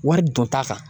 Wari don ta kan